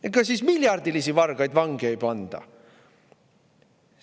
Ega siis miljardilisi vargaid vangi ei panda!